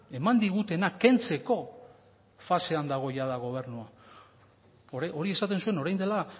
eman digutena kentzeko fasean dago jada gobernua hori esaten zuen orain dela